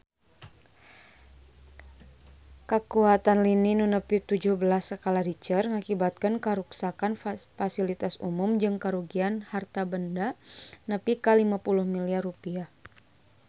Kakuatan lini nu nepi tujuh belas skala Richter ngakibatkeun karuksakan pasilitas umum jeung karugian harta banda nepi ka 50 miliar rupiah